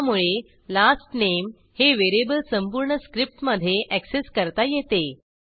त्यामुळे last name हे variable संपूर्ण स्क्रिप्टमधे ऍक्सेस करता येते